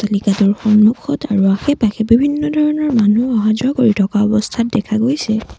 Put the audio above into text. অট্টালিকাটোৰ সন্মুখত আৰু আশে-পাশে বিভিন্ন ধৰণৰ মানুহ অহা যোৱা কৰি থকা অৱস্থাত দেখা গৈছে।